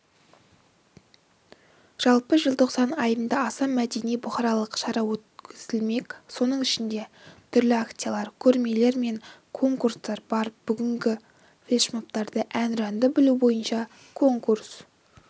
жалпы желтоқсан айында аса мәдени-бұқаралық шара өткізілмек соның ішінде түрлі акциялар көрмелер мен конкурстар бар бүгінде флешмобтары әнұранды білу бойынша конкурс